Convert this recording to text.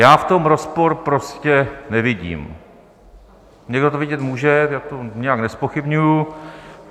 Já v tom rozpor prostě nevidím - někdo to vidět může, já to nijak nezpochybňuji.